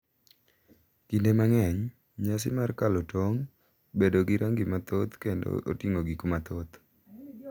Kinde mang’eny, nyasi mar kalo tong' bedo gi rangi mathoth kendo oting’o gik mathoth.